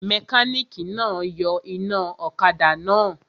Mẹkánìkì náà yọ iná ọ̀kadà náà